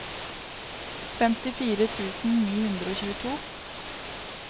femtifire tusen ni hundre og tjueto